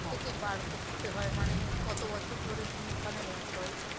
থেকে বার করতে হয় মানে কত বছর ধরে তুমি ওখানের employee